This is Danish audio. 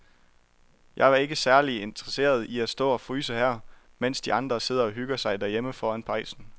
Jeg er ikke særlig interesseret i at stå og fryse her, mens de andre sidder og hygger sig derhjemme foran pejsen.